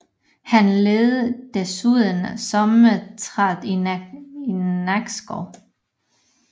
Han ledede desuden sommerteatret i Nakskov